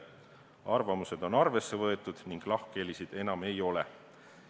Arvamused on arvesse võetud ning lahkhelisid enam ei ole.